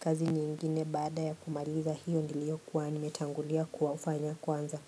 kazi nyingine baada ya kumaliza hiyo niliokuwa nimetangulia kuwafanya kwanza.